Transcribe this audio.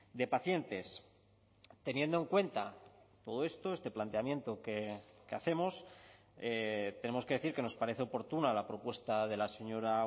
de pacientes teniendo en cuenta todo esto este planteamiento que hacemos tenemos que decir que nos parece oportuna la propuesta de la señora